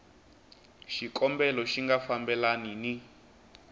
xikombelo xi nga fambelani ni